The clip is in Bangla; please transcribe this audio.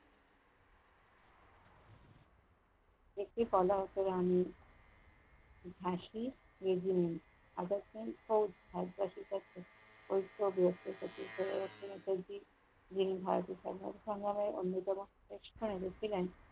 একটি কলার পরে আন্দলন ফাঁসি দিয়েছিলেন। আবার কোন ক~ ভাত বাসি টাকে ভারতের সমর্থন জানায় অন্যতম ব্যাবসায় রূপ দিলেন